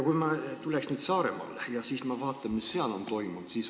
Ma tulen nüüd Saaremaale ja vaatan, mis seal on toimunud.